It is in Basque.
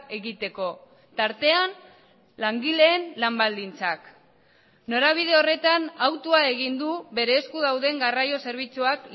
egiteko tartean langileen lan baldintzak norabide horretan hautua egin du bere esku dauden garraio zerbitzuak